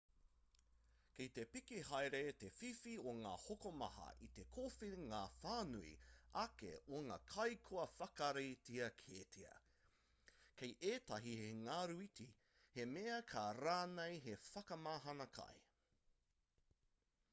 kei te piki haere te whiwhi o ngā hokomaha i te kōwhiringa whānui ake o ngā kai kua whakaritea kētia kei ētahi he ngaruiti he mea kē rānei hei whakamahana kai